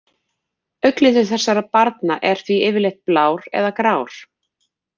Augnlitur þessara barna er því yfirleitt blár eða grár.